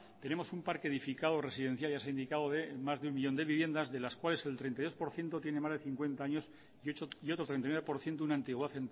tenemos un parque edificado residencial ya se ha indicado de más de un millón de viviendas de las cuales el treinta y dos por ciento tienes más de cincuenta años y otro treinta y nueve por ciento una antigüedad